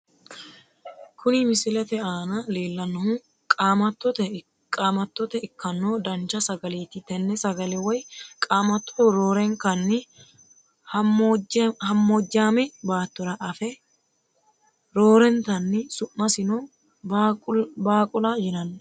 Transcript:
Kuni misilete aana leellannohu qaamattote ikkanno dancha sagaleeti tenne sagale woy qaamatto roorenkanni hammoojjaame baattora afa roortanni su'masino baaqula yinanni.